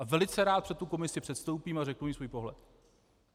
A velice rád před tu komisi předstoupím a řeknu jim svůj pohled.